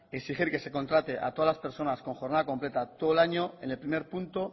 exigir que se contrate a todas las personas con jornada completa todo el año en el primer punto